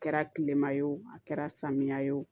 A kɛra kilema ye wo a kɛra samiya ye o